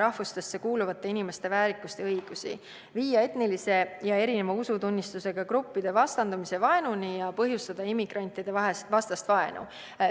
rahvustesse kuuluvate inimeste väärikust ja õigusi, viia etniliste ja erineva usutunnistusega gruppide vastandumise ja vaenuni ning põhjustada immigrantide vastast vaenu.